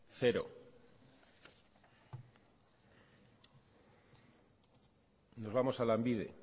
zero nos vamos a lanbide